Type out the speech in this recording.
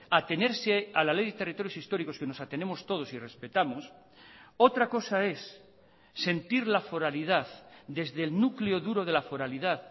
atenerse a la ley de territorios históricos que nos atenemos todos y respetamos otra cosa es sentir la foralidad desde el núcleo duro de la foralidad